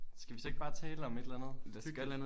Skal vi så ikke bare tale om et eller andet hyggeligt